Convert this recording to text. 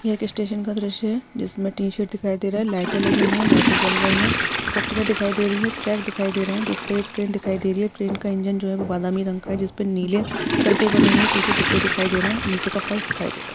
यह एक स्टेशन का दृश्य है। जिसमे टीशर्ट दिखाई दे रहा है लाइट लगी हुई है लाइट जल रही है पट्रीया दिखाई दे रही है ट्रक दिखाई दे रहा है जिसपे एक ट्रेन दिखाई दे रही है ट्रेन का इंजन जो है वो बादामी रंग का है जिसपे नीले सरकाल बने हुए है पीछे डिब्बे दिखाई दे रहे है नीचे का फर्श दिखाई दे रहा है।